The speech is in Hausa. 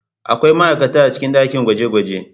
Akwai ma'aikata a cikin dakin gwaje-gwaje.